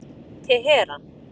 Teheran